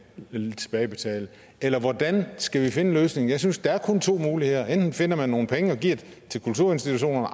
tilbagebetale eller hvordan skal vi finde en løsning jeg synes at der kun er to muligheder enten finder man nogle penge og giver dem til kulturinstitutionerne